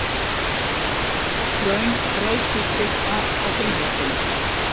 Röng frelsisstytta á frímerkinu